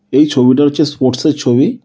এই ছবিটা হচ্ছে ষ্পোর্টস - এর ছবি।